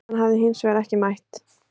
Hann hafi hins vegar ekki mætt